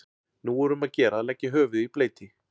Nú er um að gera að leggja höfuðið í bleyti.